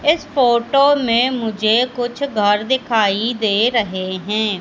इस फोटो में मुझे कुछ घर दिखाई दे रहे हैं।